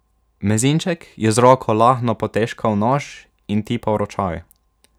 Mezinček je z roko lahno potežkal nož in tipal ročaj.